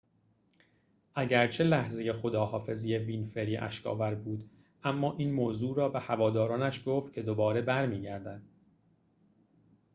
اگرچه لحظه خداحافظی وینفری اشک آور بود اما این موضوع را به هوادارانش گفت که دوباره برمی گردد